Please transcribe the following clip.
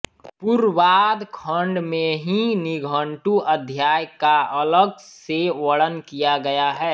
पूर्वाद्ध खण्ड में ही निघण्टु अध्याय का अलग से वर्णन किया गया है